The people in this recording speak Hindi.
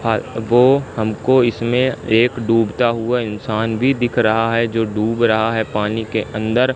वो हमको इसमें एक डूबता हुआ इंसान भी दिख रहा है जो डूब रहा है पानी के अंदर।